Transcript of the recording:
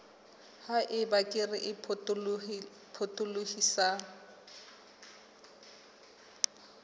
ha eba kere e potolohisang